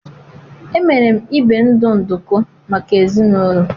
emere m ibe ndu nduku maka ezinaụlọ.